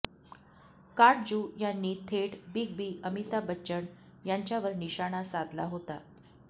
काटजू यांनी थेट big B Amitabh Bachchan यांच्यावर निशाना साधला होता